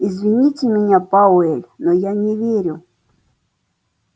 извините меня пауэлл но я не верю